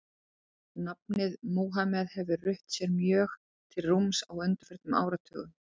Nafnið Múhameð hefur rutt sér mjög til rúms á undanförnum áratugum.